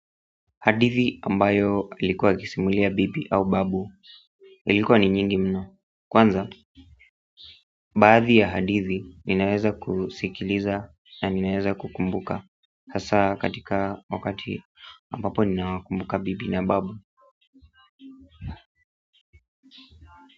Hadithi ambayo ilikuwa akisimulia bibi au babu ilikuwa ni nyingi mno kwanza, baadhi ya hadithi ninaeza kusikiliza na ninaeza kukumbuka hasa katika wakati ambapo ninawakumbuka bibi na babu.